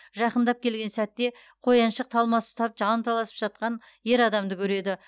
жақындап келген сәтте қояншық талмасы ұстап жанталасып жатқан ер адамды көреді